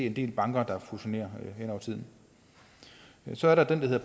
en del banker der fusionerer hen over tiden så er der